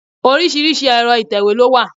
Oríṣiríṣi ẹ̀rọ ìtẹ̀wé ni o wà.